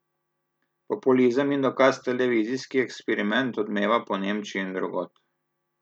Populizem in dokaz Televizijski eksperiment odmeva po Nemčiji in drugod.